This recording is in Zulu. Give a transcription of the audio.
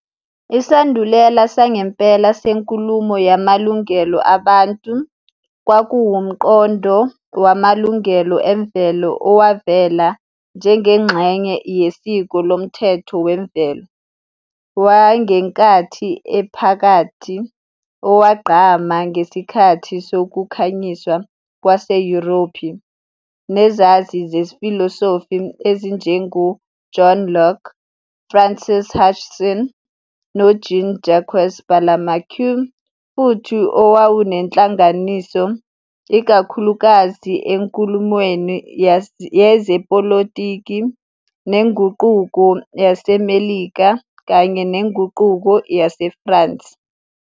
Isandulela sangempela senkulumo yamalungelo abantu kwakuwumqondo wamalungelo emvelo owavela njengengxenye yesiko lomthetho wemvelo wangenkathi ephakathi owagqama ngesikhathi sokukhanyiswa kwase- Yurophu nezazi zefilosofi ezinjengoJohn Locke, Francis Hutcheson noJean -Jacques Burlamaqui futhi owawunenhlanganiso ikakhulukazi enkulumweni yezepolitiki neNguquko YaseMelika kanye neNguquko YaseFrance.